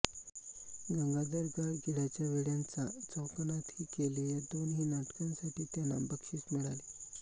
गंगाधर गाडगीळांच्या वेडयांचा चौकोनातही केले या दोन्ही नाटकांसाठी त्यांना बक्षीस मिळाले